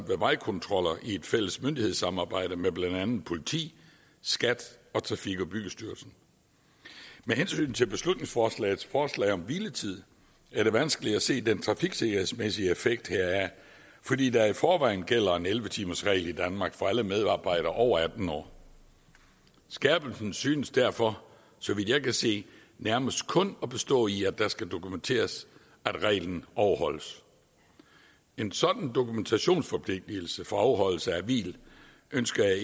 ved vejkontroller i et fælles myndighedssamarbejde med blandt andet politi skat og trafik og byggestyrelsen med hensyn til beslutningsforslagets forslag om hviletid er det vanskeligt at se den trafiksikkerhedsmæssige effekt heraf fordi der i forvejen gælder en elleve timersregel i danmark for alle medarbejdere over atten år skærpelsen synes derfor så vidt jeg kan se nærmest kun at bestå i at det skal dokumenteres at reglen overholdes en sådan dokumentationsforpligtelse for afholdelse af hvil ønsker jeg